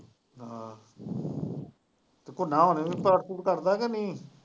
ਹਾਂ ਤੇ ਘੋਨਾ ਹੁਣ ਵੀ ਪਾਠ ਪੂਠ ਕਰਦਾ ਕਿ ਨਹੀਂ।